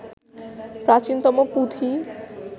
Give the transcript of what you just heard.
প্রাচীনতম পুঁথি